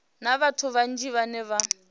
na vhathu vhanzhi vhane vha